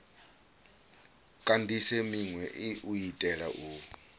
kandise minwe u itela u